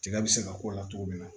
Tiga bɛ se ka k'o la togo min na